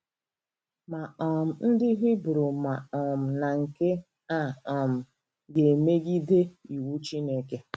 Ma um ndị Hibru ma um na nke a um ga-emegide iwu Chineke.